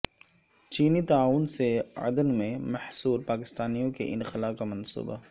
چینی تعاون سے عدن میں محصور پاکستانیوں کے انخلا کا منصوبہ